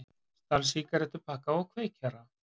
Stal sígarettupakka og kveikjara